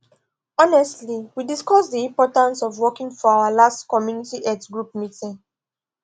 honestly we discuss the importance of walking for our last community health group meeting